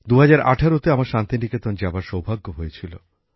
২০১৮ তে আমার শান্তিনিকেতন যাবার সৌভাগ্য হয়েছিল